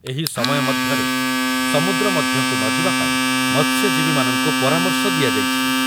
ଏହି ସମୟ ମଧ୍ୟରେ ସମୁଦ୍ର ମଧ୍ୟକୁ ନ ଯିବା ପାଇଁ ମତ୍ସ୍ୟଜୀବୀମାନଙ୍କୁ ପରାମର୍ଶ ଦିଆଯାଇଛି